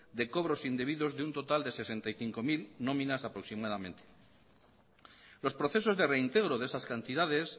de cobros indebidos de un total de sesenta y cinco mil nóminas aproximadamente los procesos de reintegro de esas cantidades